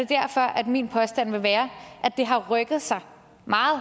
derfor at min påstand vil være at det har rykket sig meget